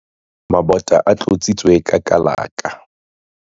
Mabota a tlotsitswe ka kalaka.